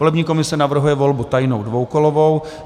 Volební komise navrhuje volbu tajnou dvoukolovou.